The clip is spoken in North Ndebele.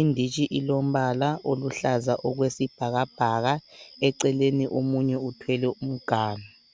Inditshi ilombala oluhlaza okwesibhakabhaka eceleni omunye uthwele umganu.